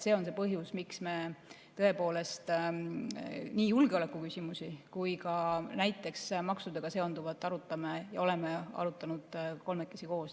See on põhjus, miks me tõepoolest nii julgeolekuküsimusi kui ka näiteks maksudega seonduvat arutame ja oleme arutanud kolmekesi koos.